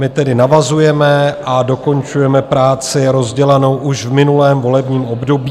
My tedy navazujeme a dokončujeme práci rozdělanou už v minulém volebním období.